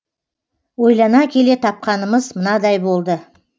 ойлана келе тапқанымыз мынадай болды